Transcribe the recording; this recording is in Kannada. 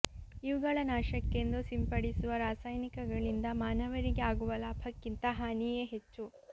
ಇವುಗಳ ನಾಶಕ್ಕೆಂದು ಸಿಂಪಡಿಸುವ ರಾಸಾಯನಿಕಗಳಿಂದ ಮಾನವರಿಗೆ ಆಗುವ ಲಾಭಕ್ಕಿಂತ ಹಾನಿಯೇ ಹೆಚ್ಚು